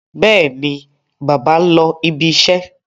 Bẹ́ẹ̀ni, bàbá ń lọ ibiṣẹ́.